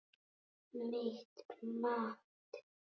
Mitt mat?